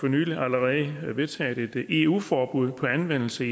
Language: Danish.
niveau allerede vedtaget et eu forbud mod anvendelse